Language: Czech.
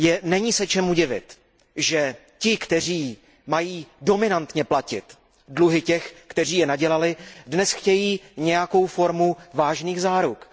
Není se čemu divit, že ti, kteří mají dominantně platit dluhy těch, kteří je nadělali, dnes chtějí nějakou formu vážných záruk.